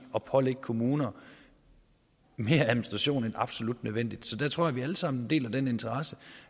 at pålægge kommuner mere administration end absolut nødvendigt så jeg tror vi alle sammen deler den interesse